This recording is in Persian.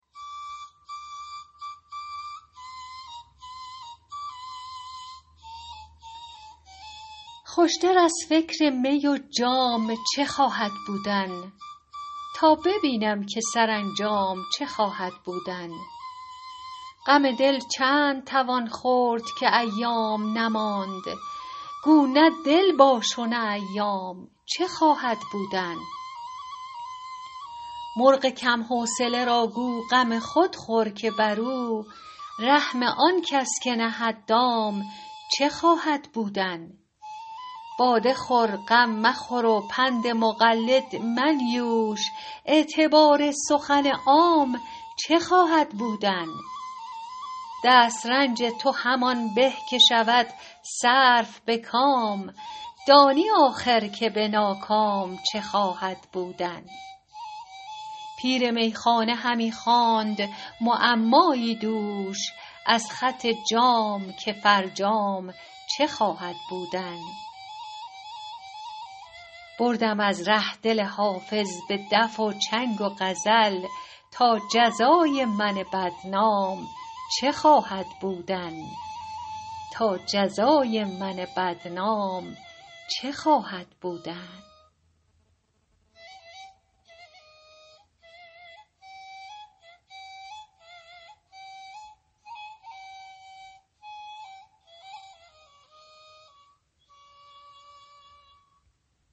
خوش تر از فکر می و جام چه خواهد بودن تا ببینم که سرانجام چه خواهد بودن غم دل چند توان خورد که ایام نماند گو نه دل باش و نه ایام چه خواهد بودن مرغ کم حوصله را گو غم خود خور که بر او رحم آن کس که نهد دام چه خواهد بودن باده خور غم مخور و پند مقلد منیوش اعتبار سخن عام چه خواهد بودن دست رنج تو همان به که شود صرف به کام دانی آخر که به ناکام چه خواهد بودن پیر میخانه همی خواند معمایی دوش از خط جام که فرجام چه خواهد بودن بردم از ره دل حافظ به دف و چنگ و غزل تا جزای من بدنام چه خواهد بودن